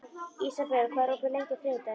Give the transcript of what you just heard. Ísabel, hvað er opið lengi á þriðjudaginn?